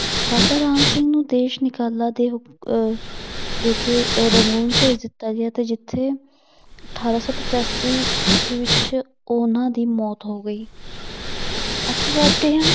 ਬਾਬਾ ਰਾਮ ਸਿੰਘ ਨੂੰ ਦੇਸ ਨਿਕਾਲਾ ਦੇ ਹੁਕ~ ਦੇ ਕੇ ਰੰਗੂਨ ਭੇਜ ਦਿੱਤਾ ਗਿਆ ਤੇ ਜਿੱਥੇ ਅਠਾਰਾਂ ਸੌ ਪਚਾਸੀ ਈਸਵੀ ਵਿੱਚ ਉਹਨਾਂ ਦੀ ਮੌਤ ਹੋ ਗਈ ਅੱਗੇ ਵੱਧਦੇ ਹਾਂ